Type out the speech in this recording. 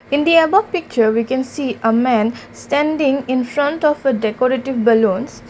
in the above picture we can see a man standing in front of a decorative ballons.